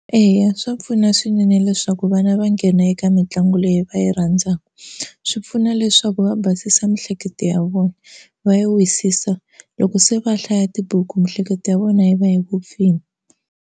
Eya swa pfuna swinene leswaku vana va nghena eka mitlangu leyi va yi rhandzaka. Swi pfuna leswaku va basisa miehleketo ya vona va yi wisisa loko se va hlaya tibuku miehleketo ya vona yi va yi vupfile.